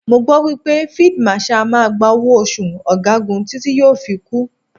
Mo gbọ́ wípé Fíídí Màṣaà á máa gba owó oṣù ọ̀gagun títí tí yóò fi kú.